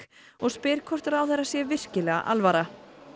og spyr hvort ráðherra sé virkilega alvara